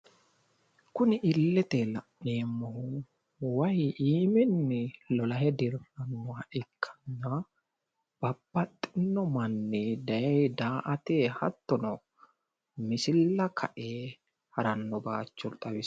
Kuni illeteyi la'neemmohu wayi iiminni lolahe dirrannoha ikkanna babbaxxinno manni daye daa"ate hattono misilla kae haranno bayicho xawissanno.